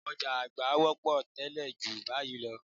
Ọ̀já àgbá wọ́pọ̀ tẹ́lẹ̀ ju báyìí lọ